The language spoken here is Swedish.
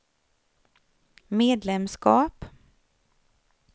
medlemskap